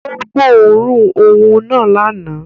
Ó gbóòórùn òun náà lánàá